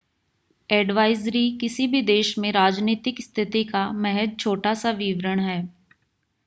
advisory किसी भी देश में राजनीतिक स्थिति का महज़ छोटा-सा विवरण है